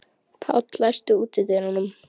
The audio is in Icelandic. Páll, læstu útidyrunum.